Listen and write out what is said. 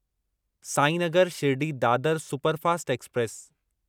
Sainagar Shirdi Dadar superfast express